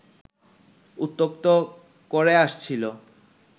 উত্ত্যক্ত করে আসছিল